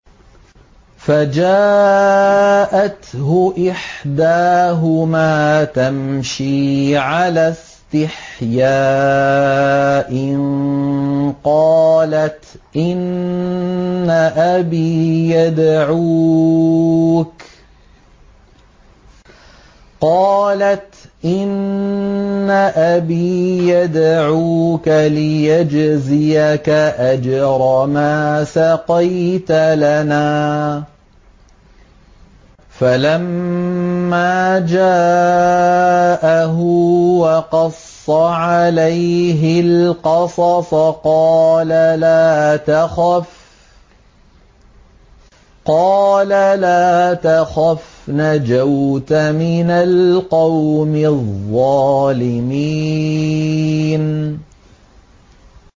فَجَاءَتْهُ إِحْدَاهُمَا تَمْشِي عَلَى اسْتِحْيَاءٍ قَالَتْ إِنَّ أَبِي يَدْعُوكَ لِيَجْزِيَكَ أَجْرَ مَا سَقَيْتَ لَنَا ۚ فَلَمَّا جَاءَهُ وَقَصَّ عَلَيْهِ الْقَصَصَ قَالَ لَا تَخَفْ ۖ نَجَوْتَ مِنَ الْقَوْمِ الظَّالِمِينَ